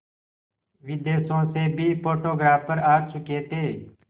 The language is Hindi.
विदेशों से भी फोटोग्राफर आ चुके थे